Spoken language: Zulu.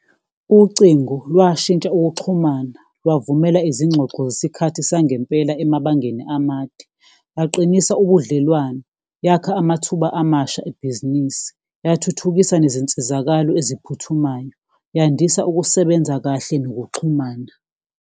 Ucingo lwashintsha ukuxhumana, lwavumela izingxoxo zesikhathi sangempela emabangeni amade, laqinisa ubudlelwane, yakha amathuba amasha ebhizinisi, yathuthukisa nezinsizakalo eziphuthumayo, yandisa ukusebenza kahle nokuxhumana.